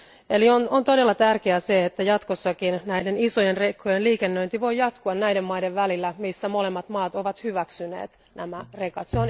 Eli on todella tärkeää, että jatkossakin näiden isojen rekkojen liikennöinti voi jatkua näiden maiden välillä, missä molemmat maat ovat hyväksyneet nämä rekat.